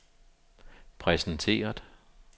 præsenteret